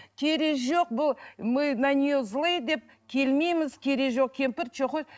керегі жоқ бұл мы на нее злые деп келмейміз керегі жоқ кемпір